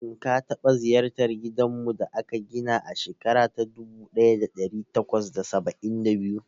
Shin ka taba ziyartar gidanmu da aka gina a shekara ta dubu daya da dari takwas da saba'in da biyu?